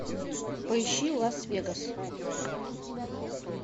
поищи лас вегас